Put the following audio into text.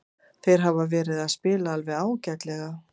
Þeir hafa verið að spila alveg ágætlega.